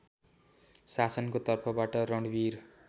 शासनको तर्फबाट रणवीर